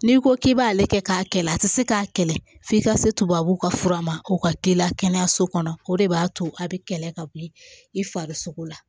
N'i ko k'i b'ale kɛ k'a kɛlɛ a tɛ se k'a kɛlɛ f'i ka se tubabuw ka fura ma o ka k'i la kɛnɛyaso kɔnɔ o de b'a to a bɛ kɛlɛ ka bɔ yen i fari sogo la